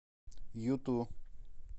юту